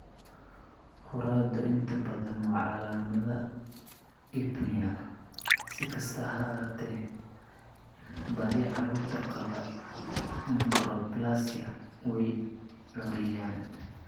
Khuuradu inta badan waa calaamada apnea, si kastaba ha ahaatee badi carruurta qaba achondroplasia way khuuriyaan.